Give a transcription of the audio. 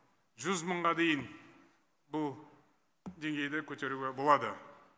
жүз мыңға дейін бұл деңгейді көтеруге болады